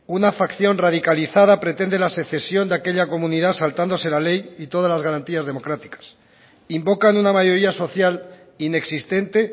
una facción radicalizada pretende la secesión de aquella comunidad saltándose la ley y todas las garantías democráticas invocan una mayoría social inexistente